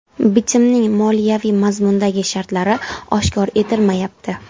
Bitimning moliyaviy mazmundagi shartlari oshkor etilmayapti.